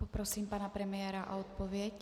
Poprosím pana premiéra o odpověď.